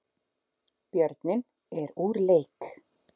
Björninn er úr leik